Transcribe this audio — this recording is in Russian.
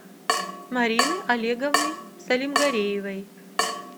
марины олеговны салимгареевой